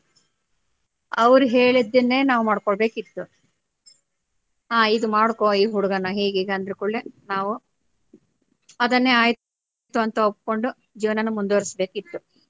ಅವ್ರು ಹೇಳಿದ್ದನ್ನೆ ನಾವು ಮಾಡ್ಕೊಳ್ಳಬೇಕಿತ್ತು ಹ ಇದು ಮಾಡ್ಕೊ ಈ ಹುಡಗನ್ನ ಹೀಗ್ ಹೀಗ್ ಅಂದ ಕೂಡ್ಲೇ ನಾವು ಅದನ್ನೇ ಆಯ್ತು ಅಂತ ಒಪ್ಕೊಂಡು ಜೀವನ ನಾ ಮುಂದವರೆಸ್ಬೇಕಿತ್ತು.